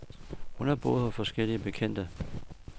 Hun har boet hos forskellige bekendte.